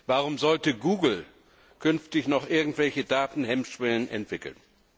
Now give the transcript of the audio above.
Warum sollte Google künftig noch irgendwelche Datenhemmschwellen entwickeln?